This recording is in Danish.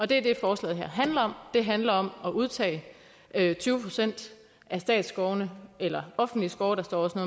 det er det forslaget her handler om det handler om at udtage tyve procent af statsskovene eller offentlige skove der står også